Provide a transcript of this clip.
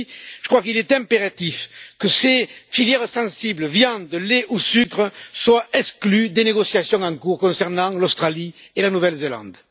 Aussi, je crois qu'il est impératif que ces filières sensibles viande, lait ou sucre soient exclues des négociations en cours concernant l'Australie et la Nouvelle Zélande.